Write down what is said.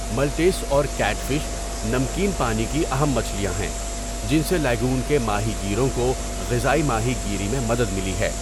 ملٹیس اور catfish نمکین پانی کی اہم مچھلیاں ہیں، جن سے لیگون کے ماہی گیروں کو غذائی ماہی گیری میں مدد ملی ہے۔